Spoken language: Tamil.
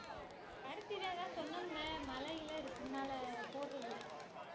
பருத்தி தான் அதா சொன்னோம்ல மழை கிழ இருக்கனால போடறதில்லை